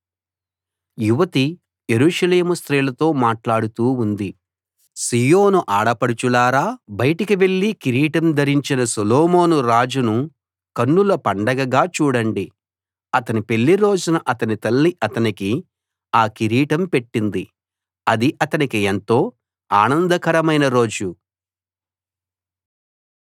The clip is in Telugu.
యువతి యెరూషలేము స్త్రీలతో మాట్లాడుతూ ఉంది సీయోను ఆడపడుచులారా బయటికి వెళ్లి కిరీటం ధరించిన సొలొమోనురాజును కన్నుల పండగగా చూడండి అతని పెళ్లి రోజున అతని తల్లి అతనికి ఆ కిరీటం పెట్టింది అది అతనికి ఎంతో ఆనందకరమైన రోజు